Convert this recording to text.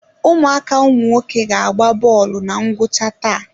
Ụmụaka ụmụnwoke ga agba bọọlụ na ngwụcha taa.